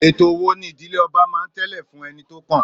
Ètò wo ni ìdílé ọba máa ń tẹ̀lé fún ẹni tó kàn?